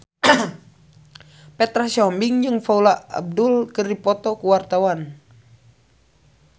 Petra Sihombing jeung Paula Abdul keur dipoto ku wartawan